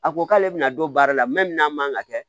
A ko k'ale bɛna don baara la n'a man kan ka kɛ